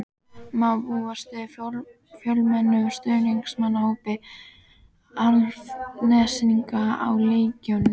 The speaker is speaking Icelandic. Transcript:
Má búast við fjölmennum stuðningsmannahópi Álftnesinga á leiknum?